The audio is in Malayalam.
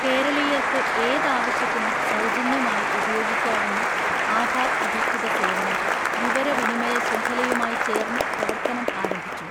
കേരളീയർക്ക് ഏതാവശ്യത്തിനും സൗജന്യമായി ഉപയോഗിക്കാവുന്ന ആധാർ അധിഷ്ഠിത സേവനം വിവര വിനിമയ ശൃംഖലയുമായി ചേർന്ന് പ്രവർത്തനം ആരംഭിച്ചു